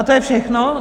A to je všechno?